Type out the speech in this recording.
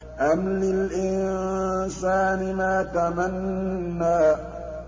أَمْ لِلْإِنسَانِ مَا تَمَنَّىٰ